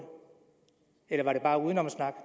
eller var det bare udenomssnak